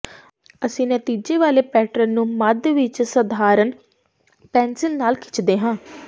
ਅਸੀਂ ਨਤੀਜੇ ਵਾਲੇ ਪੈਟਰਨ ਨੂੰ ਮੱਧ ਵਿਚ ਸਧਾਰਨ ਪੈਨਸਿਲ ਨਾਲ ਖਿੱਚਦੇ ਹਾਂ